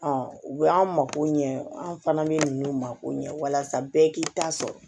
u b'an mako ɲɛ an fana bɛ ninnu ma ko ɲɛ walasa bɛɛ k'i ta sɔrɔ